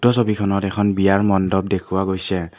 উক্ত ছবিখনত এখন বিয়াৰ মণ্ডপ দেখুওৱা গৈছে।